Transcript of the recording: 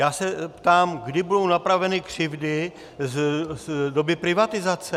Já se ptám, kdy budou napraveny křivdy z doby privatizace.